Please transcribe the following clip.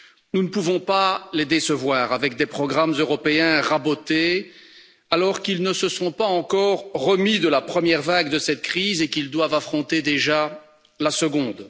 Nous ne pouvons pas les décevoir avec des programmes européens rabotés alors qu'ils ne se sont pas encore remis de la première vague de cette crise et qu'ils doivent affronter déjà la seconde.